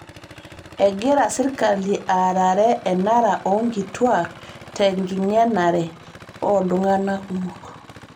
Egira sirkali aarare enara oo nkituak tenking'enare o ltung'ana kumok